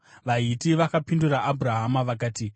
VaHiti vakapindura Abhurahama vakati,